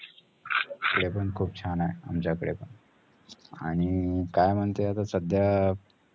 इकडे पण खूप छान आहे, आमच्याकडे पण आणि काय म्हणते आता सध्या